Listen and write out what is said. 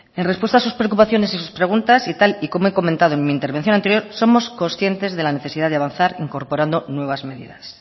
en respuesta a sus preocupaciones y sus preguntas y tal y como he comentado en mi intervención anterior somos conscientes de la necesidad de avanzar incorporando nuevas medidas